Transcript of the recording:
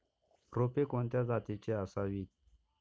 रोपे कोणत्या जातीची असावीत